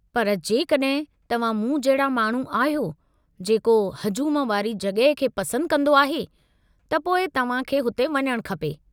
पर, जेकॾहिं तव्हां मूं जहिड़ा माण्हू अहियो जेको हजूम वारी जॻह खे पसंदि कंदो आहे, त पोइ तव्हां खे हुते वञणु खपे।